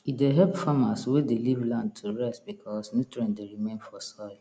e dey help farmers wey dey leave land to rest becasue nutrient dey remain for soil